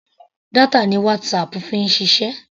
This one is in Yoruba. Data ni WhatsApp fi ń ṣiṣẹ́.